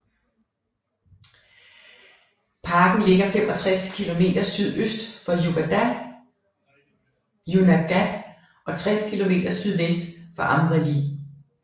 Parken ligger 65 km sydøst for Junagadh og 60 km sydvest for Amreli